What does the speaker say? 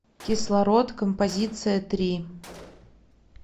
кислород композиция три